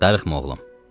Darıxma oğlum.